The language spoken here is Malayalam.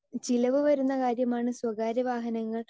സ്പീക്കർ 2 ചിലവ് വരുന്ന കാര്യമാണ് സ്വകാര്യവാഹനങ്ങൾ